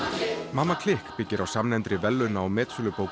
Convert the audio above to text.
mamma klikk byggir á samnefndri verðlauna og metsölubók